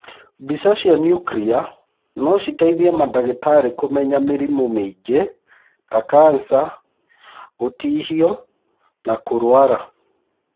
Mbica cia niukiria no citeithie mandagĩtarĩ kũmenya mĩrimũ mĩingĩ ta kanca, gũtihio na kũrwara.